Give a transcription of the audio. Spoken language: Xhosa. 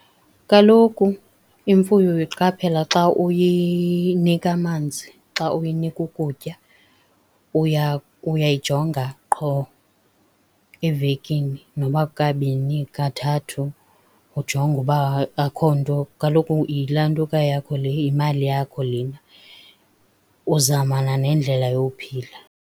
Kaloku imfuyo uyiqaphela xa uyinika amanzi xa uyinika ukutya uyayijonga qho evekini nokuba kukabini, kathathu, ujonge uba akukho nto. Kaloku yilantuka yakho le, yimali yakho lena. Uzamana nendlela yowuphila.